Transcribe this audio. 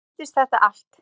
Svo vandist þetta allt.